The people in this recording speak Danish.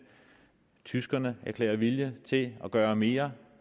tyskerne erklærer vilje til at gøre mere